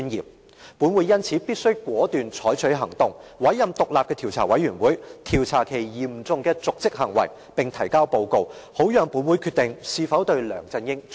因此，立法會必須採取果斷行動，委任獨立的調查委員會調查此嚴重瀆職行為，並提交報告，讓立法會決定是否彈劾梁振英。